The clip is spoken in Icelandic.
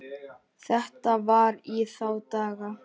Þetta var í þá daga.